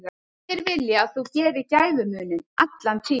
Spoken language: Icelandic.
Allir vilja að þú gerir gæfumuninn, allan tímann.